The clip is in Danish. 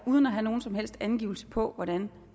uden at have nogen som helst angivelse på hvordan